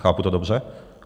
Chápu to dobře?